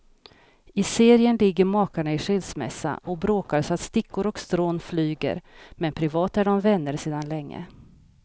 I serien ligger makarna i skilsmässa och bråkar så att stickor och strån flyger, men privat är de vänner sedan länge.